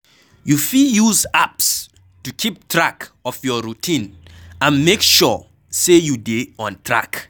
You fit use apps to keep track of your routine and make sure sey you dey on track